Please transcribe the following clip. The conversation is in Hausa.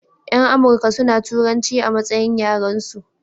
Yan amurka suna turanci a matsayin yaran su